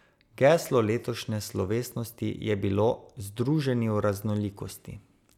Geslo letošnje slovesnosti je bilo Združeni v raznolikosti.